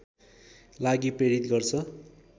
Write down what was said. लागि प्रेरित गर्छ